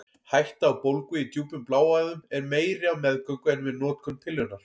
Hætta á bólgu í djúpum bláæðum er meiri á meðgöngu en við notkun pillunnar.